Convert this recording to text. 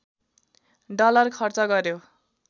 dollar खर्च गर्‍यो